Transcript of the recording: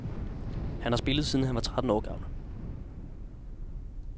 Han har spillet, siden han var tretten år gammel.